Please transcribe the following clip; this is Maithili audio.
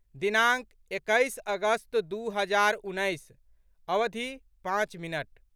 दिनाङ्क, एकैस अगस्त दू हजार उन्नैस, अवधि, पाँच मिनट